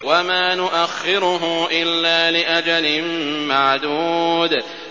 وَمَا نُؤَخِّرُهُ إِلَّا لِأَجَلٍ مَّعْدُودٍ